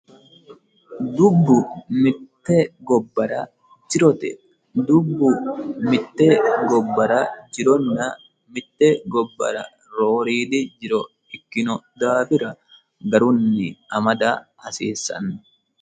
dubbu mitte gobbara jironna, mitte gobbara rooriidi jiroi kkiino, daafira garunni amada hasiissanno